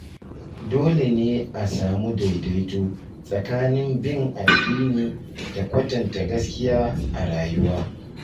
Dole ne a samu daidaito tsakanin bin addini da kwatanta gaskiya a rayuwa.